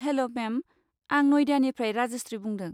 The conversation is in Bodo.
हेल' मेम, आं नयडानिफ्राय राजस्रि बुंदों।